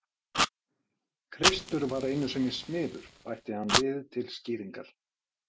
Kristur var einu sinni smiður bætti hann við til skýringar.